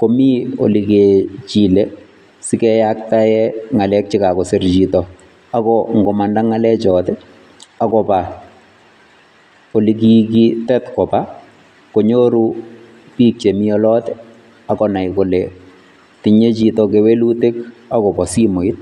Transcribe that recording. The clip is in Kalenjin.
komi olekechile sikeyaktae ng'alek chekasir chito ako nkomanda ng'alechot, akopa olekikitet kopa konyoru biik chemi olot ak konai kole tinye chito kewelutik akopo simoit.